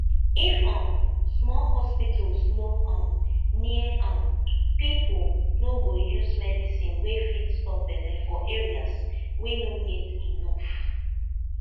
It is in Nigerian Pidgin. if um small hospitals no um near um people no go use medicine wey fit stop belle for areas wey no get enough